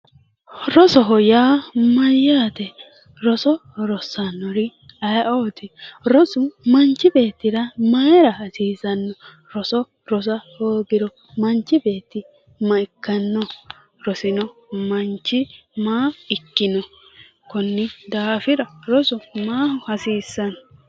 Rosoho yaa mayyaate roso rossannori aye"ooti rosu manchi beettira mayi horo aanno roso rosa hoogiro manchi beetti makkanno rosino manchi maa ikkino konni daafira rosu maaho hasiisanno